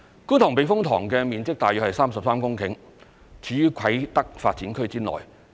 觀塘避風塘面積大約33公頃，處於啟德發展區內。